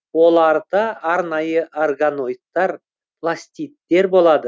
оларда арнайы органоидтар пластидтер болады